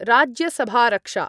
राज्यसभारक्षा